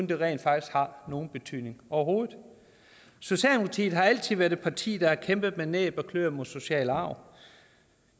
det rent faktisk har nogen betydning overhovedet socialdemokratiet har altid været et parti der har kæmpet med næb og kløer mod social arv